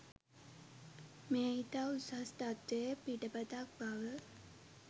මෙය ඉතා උසස් තත්ත්වයේ පිටපතක් බව